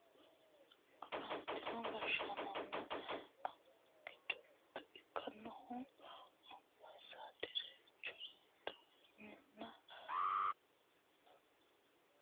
Afantino gashshaanonna annuwu giddo mitto ikkinohu anbaasaaderchu diina muftihu gobbanke baaru waalchi furcho afira halaale ikka noose yaanni no yaate